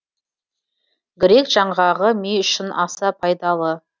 грек жаңғағы ми үшін аса пайдалы